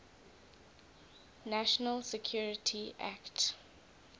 national security act